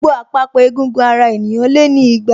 Gbogbo àpapọ̀ egungun ara ènìyàn lé ní igba